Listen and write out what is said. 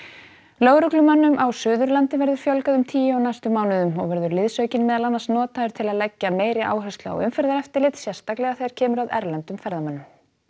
lögreglumönnum á Suðurlandi verður fjölgað um tíu á næstu mánuðum og verður liðsaukinn meðal annars notaður til að leggja meiri áherslu á umferðareftirlit sérstaklega þegar kemur að erlendum ferðamönnum